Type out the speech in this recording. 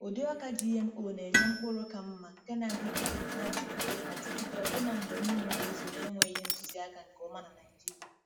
Ụdị ọka GMO na-enye mkpụrụ ka mma nke na-adịgide na-adịgide adịgide ọbụna mgbe mmiri na-ezo na-enweghị ntụziaka nke ọma na Naijiria.